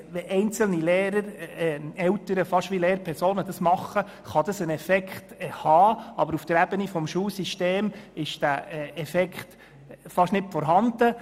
Wenn einzelne Eltern fast wie Lehrpersonen auftreten, kann dies einen Effekt haben, aber auf der Ebene des gesamten Schulsystems ist dieser Effekt fast nicht vorhanden.